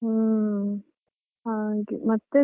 ಹ್ಮ್ ಹಾಗೆ ಮತ್ತೆ.